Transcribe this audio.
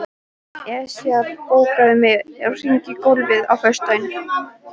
Esjar, bókaðu hring í golf á föstudaginn.